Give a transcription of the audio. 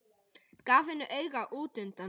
Gaf henni auga útundan sér.